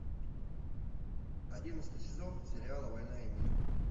одиннадцатый сезон сериала война и мир